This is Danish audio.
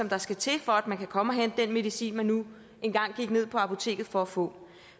der skal til for at man kan komme og hente den medicin man nu engang gik ned på apoteket for at få